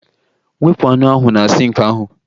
Wepụ anụ ahụ na sink ahụ